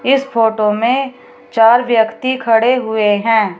इस फोटो में चार व्यक्ति खड़े हुए हैं।